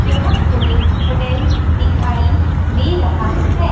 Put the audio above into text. यह कोई होटल दिखाई दे रहा है।